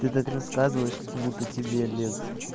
ты так рассказываешь как будто тебе лет